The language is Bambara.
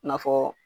I n'a fɔ